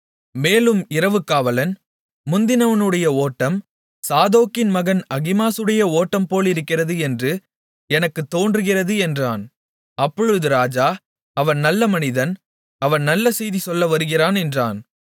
மேலும் இரவு காவலன் முந்தினவனுடைய ஓட்டம் சாதோக்கின் மகன் அகிமாசுடைய ஓட்டம்போலிருக்கிறது என்று எனக்குத் தோன்றுகிறது என்றான் அப்பொழுது ராஜா அவன் நல்ல மனிதன் அவன் நல்ல செய்தி சொல்ல வருகிறான் என்றான்